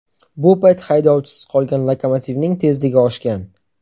Bu payt haydovchisiz qolgan lokomotivning tezligi oshgan.